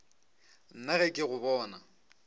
nna ge ke go bona